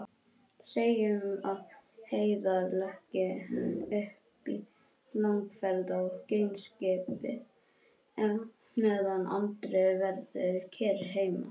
Segjum að Heiðar leggi upp í langferð á geimskipi meðan Andri verður kyrr heima.